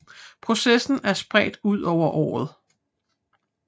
Processen er spredt ud over året